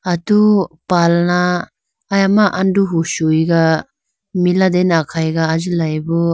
Atu palna ayama anduhu shuyiga milatene akhayiga ajilayibo.